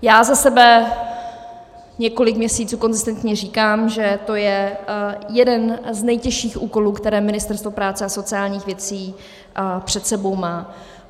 Já za sebe několik měsíců konzistentně říkám, že to je jeden z nejtěžších úkolů, které Ministerstvo práce a sociálních věcí před sebou má.